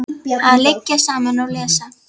Að liggja saman og lesa.